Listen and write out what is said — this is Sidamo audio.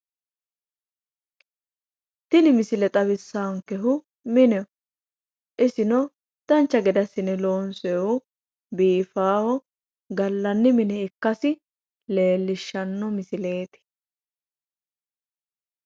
Tini misile xawissaankehu mineho isino dancha gede assine loonsoyiihu biifaahu gallanni mine ikkasi leellishshanno misileeti.